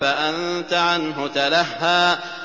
فَأَنتَ عَنْهُ تَلَهَّىٰ